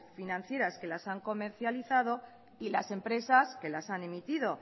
financieras que las han comercializado y las empresas que las han emitido